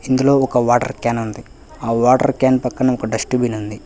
ఇందులో ఒక water can ఉంది ఆ వాటర్ క్యాన్ పక్కన ఒక డస్ట్ బిన్ ఉంది.